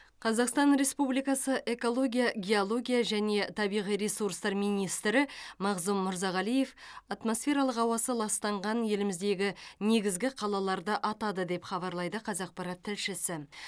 қазақстан ресспубликасы экология геология және табиғи ресурстар министрі мағзұм мырзағалиев атмосфералық ауасы ластанған еліміздегі негізгі қалаларды атады деп хабарлайды қазақпарат тілшісі